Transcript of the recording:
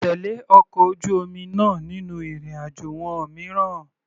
Tèlé ọkọ̀ ojú omi náà nínú ìrìn àjò wọn mìíràn.